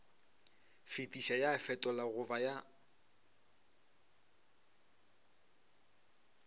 fetiša ya fetola goba ya